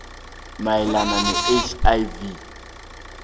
mayelana ne hiv